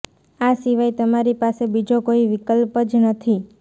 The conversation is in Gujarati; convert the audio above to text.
આ સિવાય તમારી પાસે બીજો કોઇ વિકલ્પ જ નથી